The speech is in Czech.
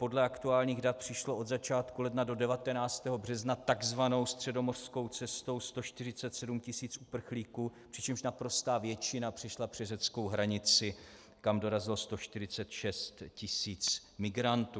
Podle aktuálních dat přišlo od začátku ledna do 19. března tzv. středomořskou cestou 147 tisíc uprchlíků, přičemž naprostá většina přišla přes řeckou hranici, kam dorazilo 146 tisíc migrantů.